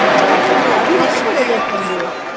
ਹੈ ਵੀ ਹੈਨਾ ਬੜੇ ਲੋਕਾ ਦੇ